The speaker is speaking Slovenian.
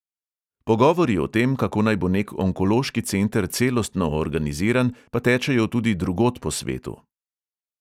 Pogovori o tem, kako naj bo nek onkološki center celostno organiziran, pa tečejo tudi drugod po svetu.